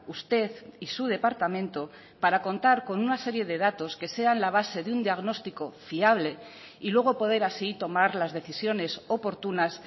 usted y su departamento para contar con una serie de datos que sean la base de un diagnóstico fiable y luego poder así tomar las decisiones oportunas